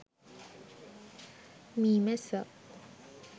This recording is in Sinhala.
meemessa